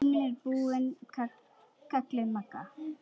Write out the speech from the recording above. Tíminn er búinn kallaði Magga.